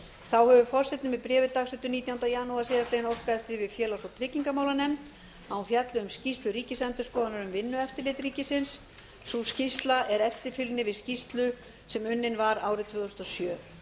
þá hefur forseti með bréfi dagsettu nítjánda janúar síðastliðnum óskað eftir því við félags og tryggingamálanefnd að hún fjalli um skýrslu ríkisendurskoðunar um vinnueftirlit ríkisins sú skýrsla er eftirfylgni við skýrsla sem unnin var árið tvö þúsund og sjö